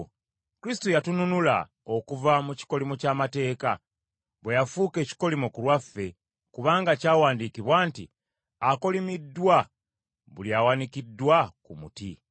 Kristo yatununula okuva mu kikolimo ky’amateeka, bwe yafuuka ekikolimo ku lwaffe, kubanga kyawandiikibwa nti, “Akolimiddwa buli awanikiddwa ku muti.”